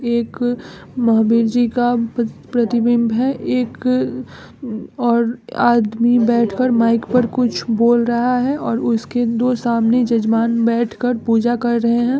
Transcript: एक महावीर जी का प- प्रतिबिंब है। एक और आदमी बैठकर माइक पर कुछ बोल रहा है और उसके दो सामने जजमान बैठकर पूजा कर रहे हैं।